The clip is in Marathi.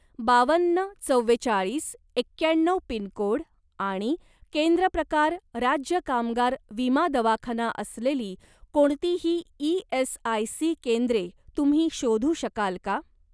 बावन्न चव्वेचाळीस एक्याण्णव पिनकोड आणि केंद्र प्रकार राज्य कामगार विमा दवाखाना असलेली कोणतीही ई.एस.आय.सी. केंद्रे तुम्ही शोधू शकाल का?